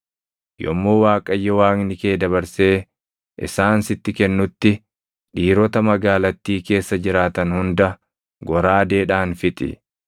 Yommuu Waaqayyo Waaqni kee dabarsee isaan sitti kennutti dhiirota magaalattii keessa jiraatan hunda goraadeedhaan fixi.